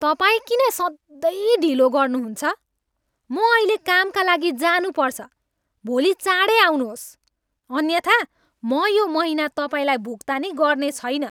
तपाईँ किन सधैँ ढिलो गर्नुहुन्छ? म अहिले कामका लागि जानु पर्छ! भोलि चाँडै आउनुहोस् अन्यथा म यो महिना तपाईँलाई भुक्तानी गर्नेछैन।